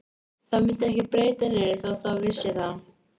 Það myndi ekki breyta neinu þótt það vissi það.